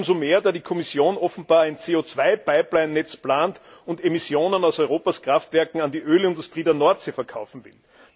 Dies umso mehr, da die Kommission offenbar ein CO 2 Pipelinenetz plant und Emissionen aus Europas Kraftwerken an die Ölindustrie in der Nordsee verkaufen will.